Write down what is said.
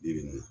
Yiri